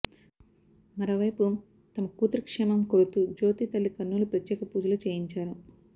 మరోవైపు తమ కూతురు క్షేమం కోరుతూ జ్యోతి తల్లి కర్నూలు ప్రత్యేక పూజలు చేయించారు